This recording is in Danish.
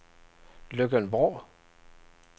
Løkken-Vrå